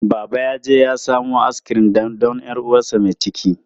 Baba yaje ya samo askirim don 'yar uwarsa mai ciki.